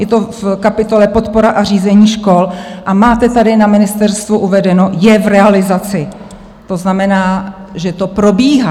Je to v kapitole Podpora a řízení škol a máte tady na ministerstvu uvedeno "je v realizaci", to znamená, že to probíhá.